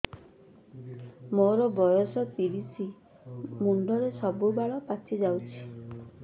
ମୋର ବୟସ ତିରିଶ ମୁଣ୍ଡରେ ସବୁ ବାଳ ପାଚିଯାଇଛି